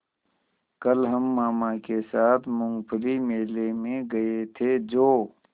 कल हम मामा के साथ मूँगफली मेले में गए थे जो